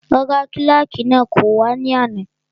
Rárá, kílàkì náà kò wá ní àná